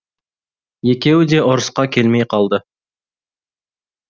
екеуі де ұрысқа келмей қалды